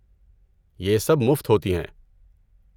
یہ سب مفت ہوتی ہیں۔